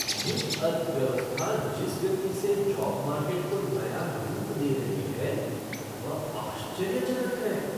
Gig अर्थव्यवस्था जिस गति से जॉब मार्केट को नया रूप दे रही है, वह आश्चर्यजनक है।